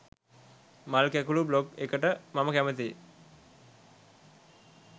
මල් කැකුලු බ්ලොග් එකට මම කැමතියි.